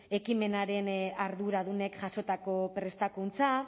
ekimenaren arduradunek jasotako prestakuntza